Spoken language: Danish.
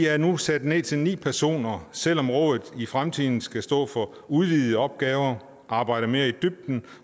er nu sat ned til ni personer selv om rådet i fremtiden skal stå for udvidede opgaver arbejde mere i dybden